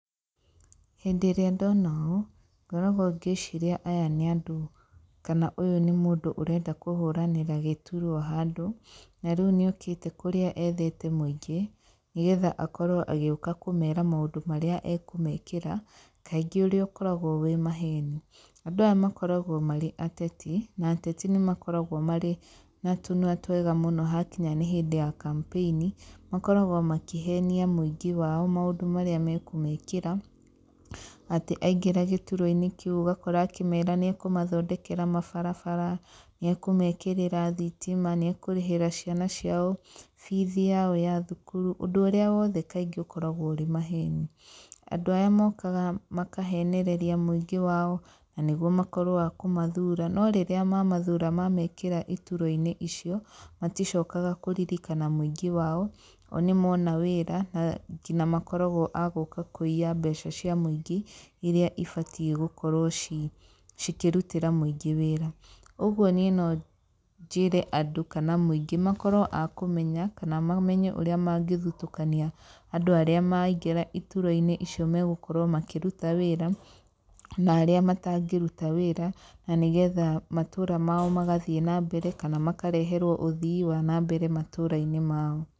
Hĩndĩ ĩrĩa ndona ũũ, ngoragwo ngĩciria aya nĩ andũ, kana ũyũ nũ mũndũ ũrenda kũhũranĩra gĩturwa handũ, na rĩu nĩokĩte kũrĩa ethete mũingĩ, nĩgetha akorwo agĩũka kũmera maũndũ marĩa ekũmekĩra, kaingĩ ũrĩa ũkoragwo wĩ maheni. Andũ aya makoragwo marĩ ateti, na ateti nĩ makoragwo marĩ na tũnua twega mũno hakinya nĩ hĩndĩ ya kampeini, makoragwo makĩhenia mũingĩ wao maũndũ marĩa mekũmekĩra, atĩ aingĩra gĩturwa-inĩ kĩu ũgakora akĩmera nĩ akũmathondekera mabarabara, nĩ ekũmekĩrĩra thitima, nĩ akũrĩhĩra ciana ciao bithi yao ya thukuru. Ũndũ ũrĩa wothe kaingĩ ũkoragwo ũrĩ maheni. Andũ aya mokaga makahenereria mũingĩ wao, na nĩguo makorwo akũmathura, no rĩrĩa mamathura mamekĩra iturwa-inĩ icio, maticokaga kũririkana mũingĩ wao, o nĩ mona wĩra, na nginya makoragwo a gũka kũiya mbeca cia mũingĩ rĩrĩa ibatiĩ gũkorwo ciĩ cikĩrutĩra mũingĩ wĩra. Ũguo niĩ no njĩre andũ kana mũingĩ, makorwo a kũmenya, kana mamenye ũrĩa mangĩthutũkania andũ arĩa maraingĩra iturwa-inĩ icio magũkorwo makĩruta wĩra, na arĩa matangĩruta wĩra, na nĩgetha matũra mao magathiĩ na mbere, kana makareherwo ũthii wa na mbere matũra-inĩ mao.